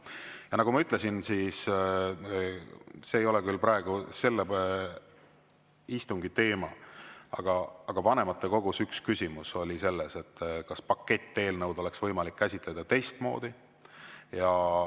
Ja nagu ma ütlesin – see ei ole küll praegu istungi teema –, vanematekogus oli üks küsimus selles, kas paketteelnõu oleks võimalik käsitleda teistmoodi.